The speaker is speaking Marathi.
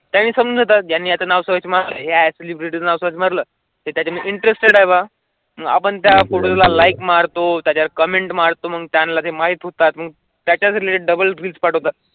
आणि समजा आता त्यांच्या नावाच्या सर्च मारली सेलिब्रिटींवर सर्च मारल त्याच्या इंटरेस्टेड हवा आपण त्या फोटोला लाइक मारतो, त्या कमेंट मारतो मग त्यांना ते माहीत होतात मग त्याच्या थ्री डबल रील्स पटोवतथ.